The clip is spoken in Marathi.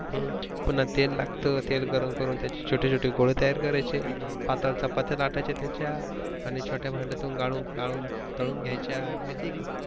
पुन्हा तेल लागत, तेल गरम करून त्याची छोटे छोटे गोळे तयार करायेचे. पातळ चपात्या लाटाच्या त्याच्या आणि छोट्या भांड्यातून गालू गालू तळून घ्याच्या, माहित आहे का?